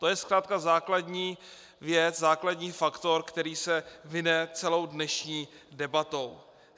To je zkrátka základní věc, základní faktor, který se vine celou dnešní debatou.